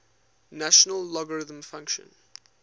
natural logarithm function